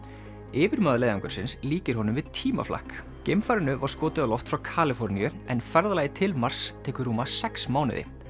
yfirmaður leiðangursins líkir honum við tímaflakk geimfarinu var skotið á loft frá Kaliforníu en ferðalagið til Mars tekur rúma sex mánuði